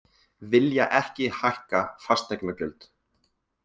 Vilja ekki hækka fasteignagjöld